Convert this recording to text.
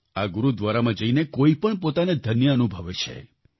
આ ગુરુદ્વારામાં જઈને કોઈપણ પોતાને ધન્ય અનુભવે છે